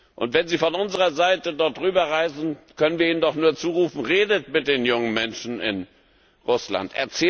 Und wenn sie von unserer Seite dort rüber reisen, können wir ihnen doch nur zurufen Redet mit den jungen Menschen in Russland.